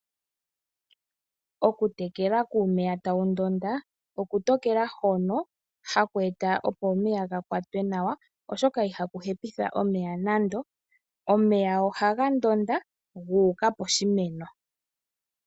Okutekela iimeno kuumeya tawu ndonda oku tekela hono hà kweeta omeya ga kwatwe nawa. Ihaku hepitha omeya nande omeya ohaga ndonda guukà poshimeno.